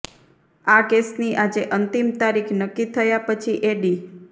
આ કેસની આજે અંતિમ તારીખ નક્કી થયા પછી એડી